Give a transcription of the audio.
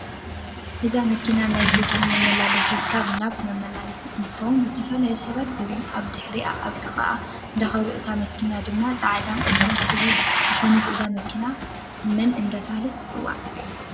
እዚ መኪና ናይ ህዝቢ መመላለስቲ ካብ ናብ መማላላስት እንትትኮን ዝተፈላላዩ ሰባት እውን ኣብ ድሕሪኣ ኣብ ጥቃአ እዳከዱ እታ መኪና ድማ ፃዕዳን ቆፃልን ሕብሪታት ዝኮነት እዛ መኪና መን እዳተበሃለት ትፅዋዕ?